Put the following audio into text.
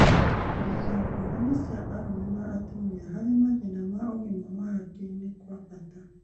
Kũmenya ngũrani cia arũme na atumia harĩ mathĩna ma ũgima wa hakiri nĩ kwa bata